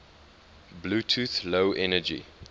bluetooth low energy